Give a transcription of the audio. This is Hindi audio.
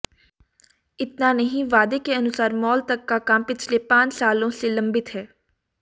इतना नहीं वादे के अनुसार मॉल तक का काम पिछले पांच सालों से लंबित है